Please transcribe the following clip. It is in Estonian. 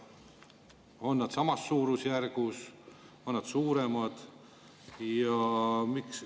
On nad samas suurusjärgus, on nad suuremad?